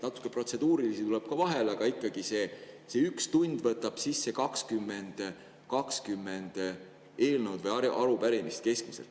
No natuke protseduurilisi tuleb vahele, aga ikkagi, ühe tunni jooksul võetakse vastu keskmiselt 20 eelnõu ja arupärimist.